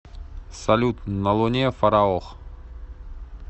салют на луне фараох